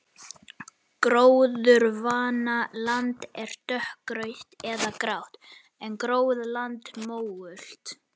Gróðurvana land er dökkrautt eða grátt en gróið land mógult.